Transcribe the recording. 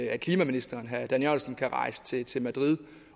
at klimaministeren kan rejse til til madrid